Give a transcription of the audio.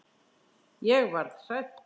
Ég varð hrædd.